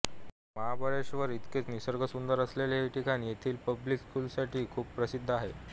महाबळेश्वर इतकेच निसर्गसुंदर असलेले हे ठिकाण येथील पब्लिक स्कूल्ससाठी खूप प्रसिद्ध आहे